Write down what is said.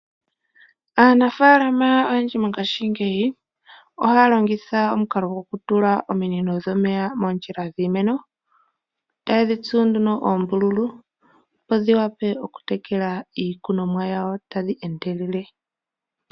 Aanafaalama oyendji mongaashi ngeyi, oha ya longitha omukalo gokutulula ominino dhomeya moondjila dhiimeno, eta ye dhitsu nduno oombululu, opo dhiwape oku tekela iikunomwa yawo tadhi endelele.